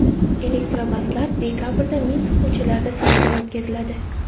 Elektrobuslar dekabrda Minsk ko‘chalarida sinovdan o‘tkaziladi.